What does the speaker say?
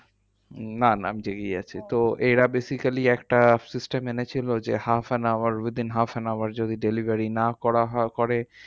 না না আমি জেগেই আছি। তো এরা basically একটা system এনেছিল যে half and hour with in half and hour যদি delivery যদি না করা হয় করে,